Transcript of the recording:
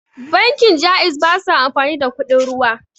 Bankin Ja'iz basa amfani da kuɗin ruwa